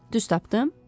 Düz tapdım?